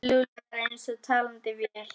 Lúlli var eins og talandi vél.